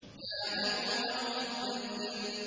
يَا أَيُّهَا الْمُدَّثِّرُ